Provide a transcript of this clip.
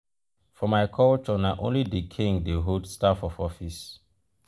for my culture na only di king dey hold staff of office.